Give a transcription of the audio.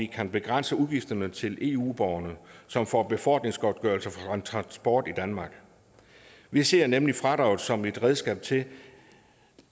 kan begrænse udgifterne til eu borgerne som får befordringsgodtgørelse for transport i danmark vi ser nemlig fradraget som et redskab til